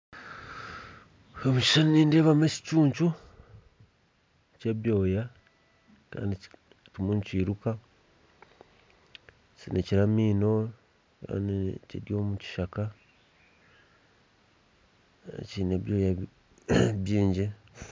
Omu kishushani nindeebamu ekicuncu ky'ebyoya kiryo nikyiruka kisinikire amaino kandi kiri omu kishaka kiine ebyoya bingi